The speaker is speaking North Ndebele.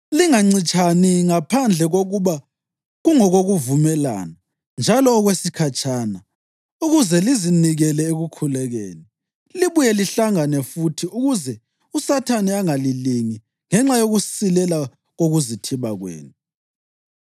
Lingancitshani ngaphandle kokuba kungokokuvumelana njalo okwesikhatshana, ukuze lizinikele ekukhulekeni. Libuye lihlangane futhi ukuze uSathane angalilingi ngenxa yokusilela kokuzithiba kwenu.